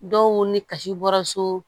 Dɔw ni kasi bɔra so